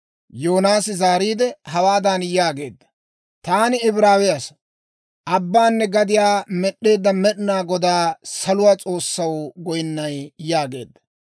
Yoonaasi zaariide, hawaadan yaageedda; «Taani Ibraawe asaa; abbaanne gadiyaa med'd'eedda Med'inaa Godaw, saluwaa S'oossaw goynnay» yaageedda.